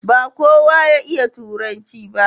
ba kowa ya iya turanci ba